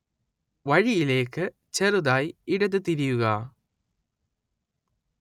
വഴിയിലേക്ക് ചെറുതായി ഇടത് തിരിയുക